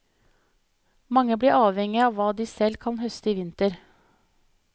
Mange blir avhengig av hva de selv kan høste i vinter.